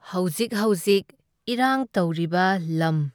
ꯍꯧꯖꯤꯛ ꯍꯣꯖꯤꯛ ꯏꯔꯥꯡ ꯇꯧꯔꯤꯕ ꯂꯝ